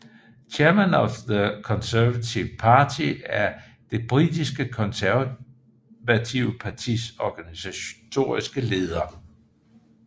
Chairman of the Conservative Party er det britiske konservative partis organisatoriske leder